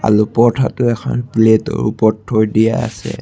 আলু পৰঠাটো এখন প্লেটৰ ওপৰত থৈ দিয়া আছে।